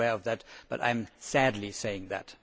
I am aware of that, but I am sadly saying that.